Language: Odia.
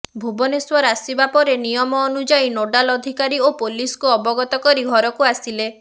ଭୁବନେଶ୍ୱର ଆସିବା ପରେ ନିୟମ ଅନୁଯାୟୀ ନୋଡାଲ ଅଧିକାରୀ ଓ ପୋଲିସକୁ ଅବଗତ କରି ଘରକୁ ଆସିଲେ